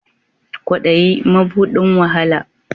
Ƙwaɗayi maɓuɗin wa hala.